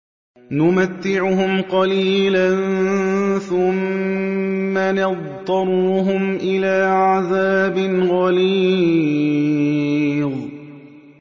نُمَتِّعُهُمْ قَلِيلًا ثُمَّ نَضْطَرُّهُمْ إِلَىٰ عَذَابٍ غَلِيظٍ